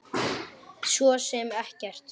Svo sem ekkert.